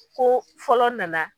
Ko fɔlɔ nana